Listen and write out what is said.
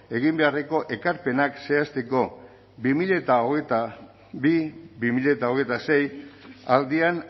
egin beharreko ekarpenak zehazteko bi mila hogeita bi bi mila hogeita sei aldian